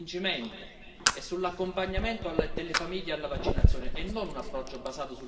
e sull'accompagnamento delle famiglie alla vaccinazione, e non un approccio basato sull'obbligatorietà.